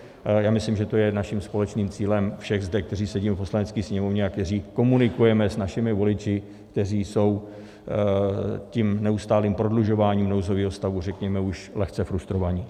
Já myslím, že to je naším společným cílem všech zde, kteří sedíme v Poslanecké sněmovně a kteří komunikujeme s našimi voliči, kteří jsou tím neustálým prodlužováním nouzového stavu, řekněme, už lehce frustrovaní.